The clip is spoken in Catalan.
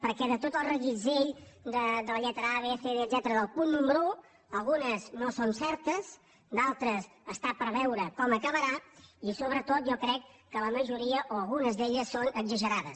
perquè de tot el reguitzell de les lletres a b punt número un algunes no són certes d’altres està per veure com acabarà i sobretot jo crec que la majoria o algunes d’elles són exagerades